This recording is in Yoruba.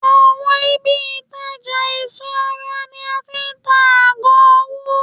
awon ibi itaja eso ara ni a ti n ta ago owo.